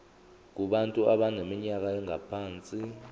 kubantu abaneminyaka engaphansi